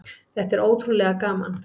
Þetta er ótrúlega gaman.